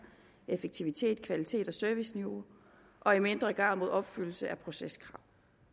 effektivitet kvalitet og serviceniveau og i mindre grad mod opfyldelse af proceskrav